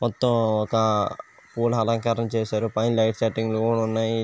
మొత్తం ఒక పూల అలంకరణ చేసారు పైన లైట్ సెట్టింగ్స్ కూడా ఉన్నాయి